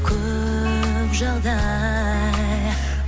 көп жағдай